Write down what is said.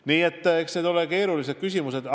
Nii et eks need ole keerulised küsimused.